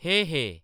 हे हे हे